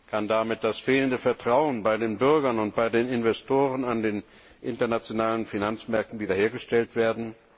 Kann damit das fehlende Vertrauen bei den Bürgern und bei den Investoren an den internationalen Finanzmärkten wieder hergestellt werden?